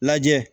Lajɛ